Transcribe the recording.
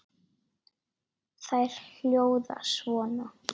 Þær hljóða svona